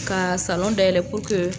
Ka salon da yɛlɛ purke